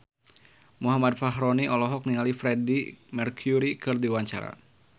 Muhammad Fachroni olohok ningali Freedie Mercury keur diwawancara